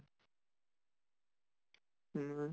উম